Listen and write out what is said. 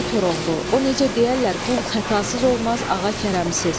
Ay Koroğlu, o necə deyərlər qul xətasız olmaz, ağa kərəmsiz.